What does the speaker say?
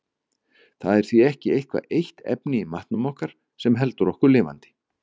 Það er því ekki eitthvað eitt efni í matnum sem heldur okkur lifandi.